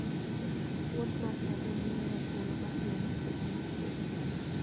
wuodh mar ngamia miyowa thuolo mar neno ngima mar thim